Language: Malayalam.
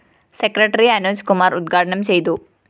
സെക്രട്ടറി അനോജ് കുമാര്‍ ഉദ്ഘാടനം ചെയ്തു